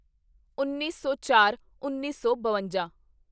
ਉੱਨੀ ਸੌਚਾਰਉੱਨੀ ਸੌ ਬਵੰਜਾ